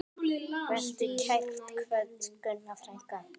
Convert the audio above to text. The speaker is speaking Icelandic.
Vertu kært kvödd, Gunna frænka.